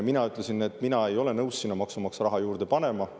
Mina ütlesin, et mina ei ole nõus sinna maksumaksja raha juurde panema.